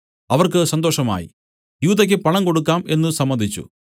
അവർക്ക് സന്തോഷമായി യൂദയ്ക്ക് പണം കൊടുക്കാം എന്നു സമ്മതിച്ചു